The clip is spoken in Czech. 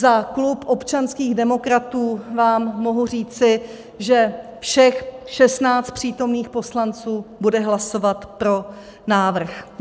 Za klub občanských demokratů vám mohu říci, že všech 16 přítomných poslanců bude hlasovat pro návrh.